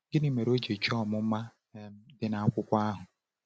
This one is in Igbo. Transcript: Gịnị mere o ji chọọ ọmụma um dị n’akwụkwọ ahụ?